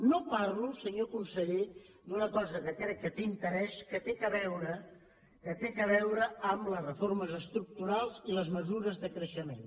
no parlo senyor conseller d’una cosa que crec que té interès que té a veure que té a veure amb les reformes estructurals i les mesures de creixement